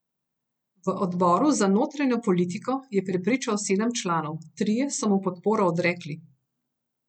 V odboru za notranjo politiko je prepričal sedem članov, trije so mu podporo odrekli.